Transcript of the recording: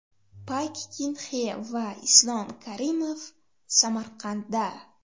Pak Kin Xe va Islom Karimov Samarqandda.